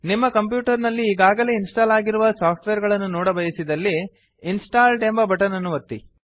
ನಿಮ್ಮ ಕಂಪ್ಯೂಟರ್ ನಲ್ಲಿ ಈಗಾಗಲೇ ಇನ್ಸ್ಟಾಲ್ ಆಗಿರುವ ಸಾಫ್ಟ್ವೇರ್ ಗಳನ್ನು ನೋಡಬಯಸಿದಲ್ಲಿ ಇನ್ಸ್ಟಾಲ್ಡ್ ಎಂಬ ಬಟನ್ ಅನ್ನು ಒತ್ತಿ